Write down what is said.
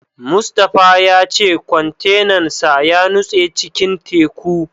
Mustapha ya ce kwantenan sa ya nutse cikin teku.